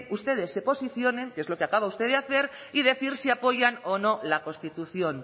ustedes se posicionen que es lo que acaba usted de hacer y decir si apoyan o no la constitución